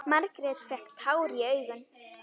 Margrét fékk tár í augun.